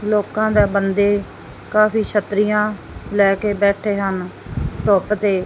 ਲੋਕਾਂ ਦਾ ਬੰਦੇ ਕਾਫੀ ਛਤਰੀਆਂ ਲੈ ਕੇ ਬੈਠੇ ਹਨ ਧੁੱਪ ਤੇ--